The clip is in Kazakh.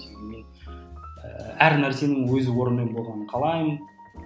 ііі әр нәрсенің өз орнымен болғанын қалаймын